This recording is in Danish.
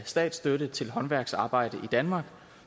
statsstøtte til håndværksarbejde i danmark